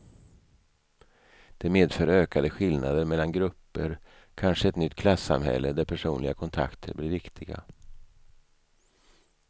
Det medför ökade skillnader mellan grupper, kanske ett nytt klassamhälle där personliga kontakter blir viktiga.